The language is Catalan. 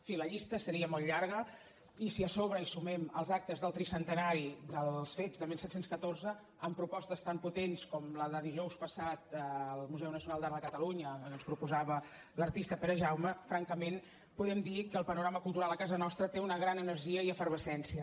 sí la llista seria molt llarga i si a sobre hi sumem els actes del tricentenari dels fets de disset deu quatre amb propostes tan potents com la de dijous passat al museu nacional d’art de catalunya que ens proposava l’artista perejaume francament podem dir que el panorama cultural a casa nostra té una gran energia i efervescència